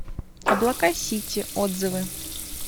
облака сити отзывы